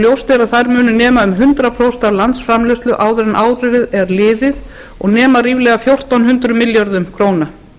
ljóst er að þær munu nema um hundrað prósent af landsframleiðslu áður en árið er liðið og nema ríflega fjórtán hundruð milljörðum króna